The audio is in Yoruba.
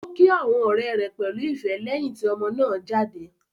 Ó kí àwọn ọ̀rẹ́ pẹ̀lú ìfẹ́ lẹ́yìn tí ọmọ náà dé.